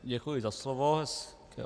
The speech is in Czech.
Děkuji za slovo.